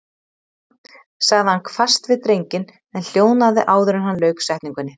sagði hann hvasst við drenginn en hljóðnaði áður en hann lauk setningunni.